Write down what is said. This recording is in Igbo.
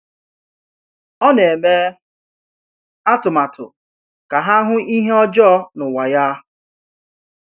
Ọ na-eme atụmatụ ka ha hụ ihe ọjọọ n’ụwa ya.